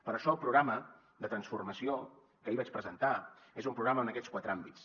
per això el programa de transformació que ahir vaig presentar és un programa en aquests quatre àmbits